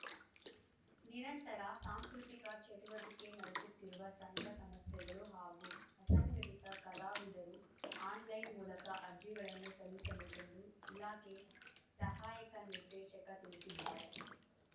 ನಿರಂತರ ಸಾಂಸ್ಕೃತಿಕ ಚಟುವಟಿಕೆ ನಡೆಸುತ್ತಿರುವ ಸಂಘ ಸಂಸ್ಥೆಗಳು ಹಾಗೂ ಅಸಂಘಟಿತ ಕಲಾವಿದರು ಆನ್‌ಲೈನ್‌ ಮೂಲಕ ಅರ್ಜಿಗಳನ್ನು ಸಲ್ಲಿಸಬೇಕೆಂದು ಇಲಾಖೆ ಸಹಾಯಕ ನಿರ್ದೇಶಕ ತಿಳಿಸಿದ್ದಾರೆ